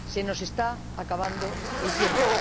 Se nos está acabando el tiempo.